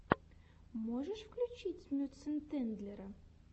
можешь включить мюцентендлера